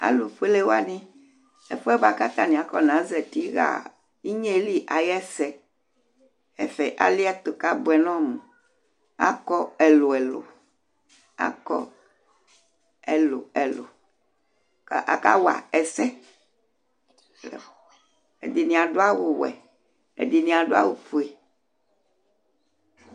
Alu foele wanɩ, ɛfuɛ bua ku atanɩ kɔ ne zatɩ ɣa ɩnyeli ayɛsɛ Ɛfɛ ali ɛtu kabuɛ nɔ mu Akɔ ɛlu ɛlu Akɔ ɛlu ɛlu, kaka wa ɛsɛ Ɛɖɩnɩ aɖu awu wɛ, ɛɖɩnɩ aɖu awu foe